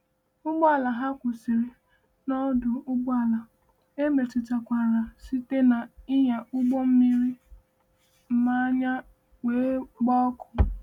Ụgbọala ha kwụsịrị n’ọdụ ụgbọala emetụtakwara site n’ịnya ụgbọ mmiri mmanya, wee gbaa ọkụ.